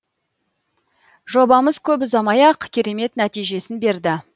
жобамыз көп ұзамай ақ керемет нәтижесін берді